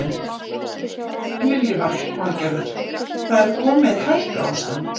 Lillý Valgerður: Það er komið hættuástand?